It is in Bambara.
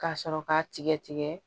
Ka sɔrɔ k'a tigɛ tigɛ